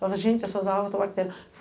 Nossa, gente, essas águas estão bactérias.